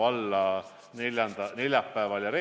Aga nüüd küsimuse juurde.